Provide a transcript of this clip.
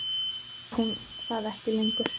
Nú var hún það ekki lengur.